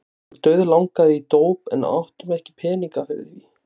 Okkur dauðlangaði í dóp en áttum ekki peninga fyrir því.